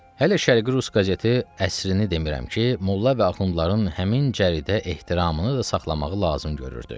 Hələ Şərqi Rus qəzeti əsrini demirəm ki, molla və axundların həmin cəridə ehtiramını da saxlamağı lazım görürdü.